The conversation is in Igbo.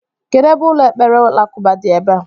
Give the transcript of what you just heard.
Kedụ ebe ụlọ ekpere alakụba dị ebea?